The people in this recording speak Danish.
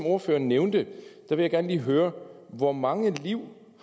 ordføreren nævnte vil jeg gerne lige høre hvor mange liv